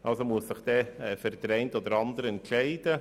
Also muss sich der Grosse Rat für den einen oder anderen entscheiden.